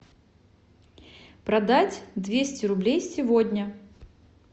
продать двести рублей сегодня